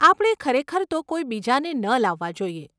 આપણે ખરેખર તો કોઈ બીજાને ન લાવવા જોઈએ.